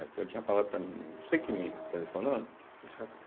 Até eu tinha falado para a menina, você que me telefonou?